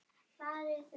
Gekk hann út.